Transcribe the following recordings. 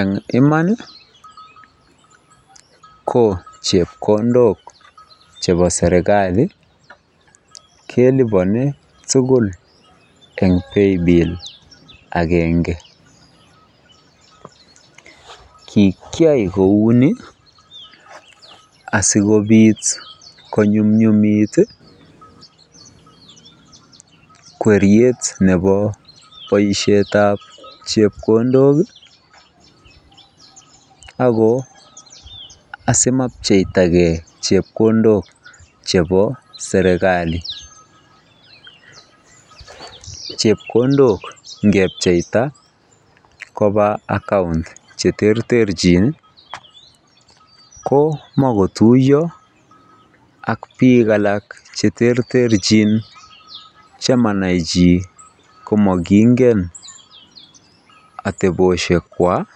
Eng'iman ko chepkondok chepo serikali kelipani tugul eng' paybill agenge kikiay kouni asikopit konyumnyumit kweriet nepo boisiet ab chepkondok ako asimapcheitagei chepkondok chepo serikali chepkondok ngepcheita kopaa account cheterterchin ko makotuyo ak piik alak cheterterchin chemanae Chi komakingen ateposhek kwach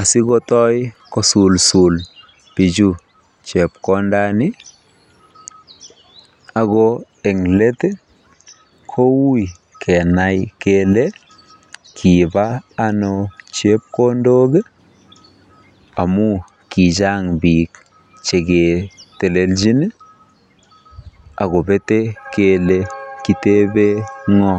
asikotoi kosul pichu chepkondani ago eng' let kouy kenai kele kipa ano chepkondok amu kichang' piik cheketeleljin akopete kele kitepe ng'o.